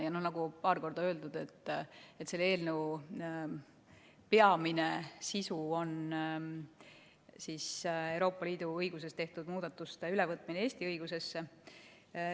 Ja nagu paar korda öeldud, on selle eelnõu peamine sisu Euroopa Liidu õiguses tehtud muudatuste ülevõtmine Eesti õigusesse.